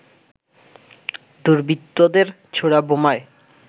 দুর্বৃত্তদের ছোড়া বোমায়